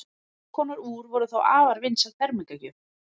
þess konar úr voru þá afar vinsæl fermingargjöf